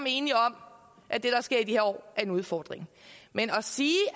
enige om at det der sker i de her år er en udfordring men at sige